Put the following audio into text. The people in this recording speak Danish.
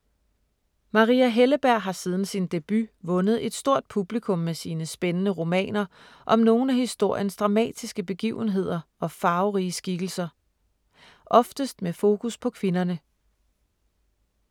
Maria Helleberg har siden sin debut vundet et stort publikum med sine spændende romaner om nogle af historiens dramatiske begivenheder og farverige skikkelser. Oftest med fokus på kvinderne.